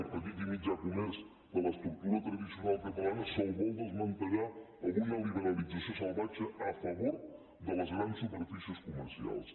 al petit i mitjà comerç de l’estructura tradicional catalana se’l vol desmantellar amb una liberalització salvatge a favor de les grans superfícies comercials